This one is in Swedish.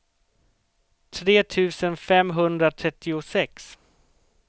tre tusen femhundratrettiosex